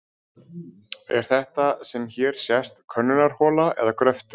Er þetta sem hér sést könnunarhola eða gröftur?